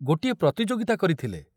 ପ୍ରତିଯୋଗିତା କରିଥିଲେ।